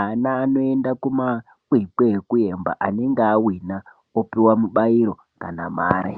Ana anoenda kumakwikwi ekuemba ,anenge awina opuwa mubairo kana mare.